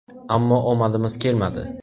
Ammo omadimiz kelmadi.